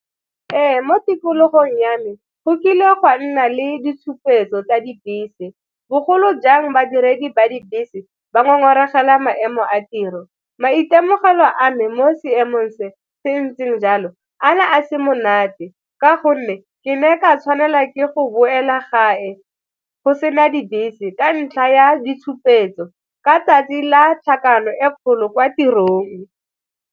Ee, mo tikologong ya me go kile gwa nna le ditshupetso tsa dibese bogolo jang badiredi ba dibese ba ngongoregela maemo a tiro. Maitemogelo a me mo seemong se se ntseng jalo a na a se monate ka gonne ke ne ka tshwanela ke go boela gape go sena dibese ka ntlha ya ditshupetso ka 'tsatsi la tlhakano e kgolo kwa tirong.